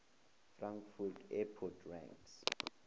frankfurt airport ranks